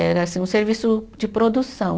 Era assim um serviço de produção.